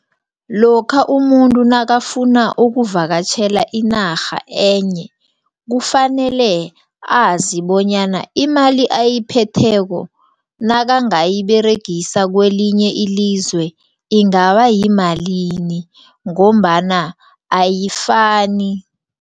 Lokha umuntu nakafuna ukuvakatjhela inarha enye. Kufanele azi bonyana imali ayiphetheko nakangayiberegisa kwelinye ilizwe ingabayimalini ngombana ayifani.